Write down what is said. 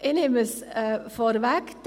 Ich nehme es vorweg: